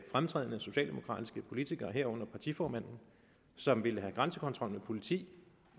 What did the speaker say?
fremtrædende socialdemokratiske politikere herunder partiformanden som ville have en grænsekontrol med politi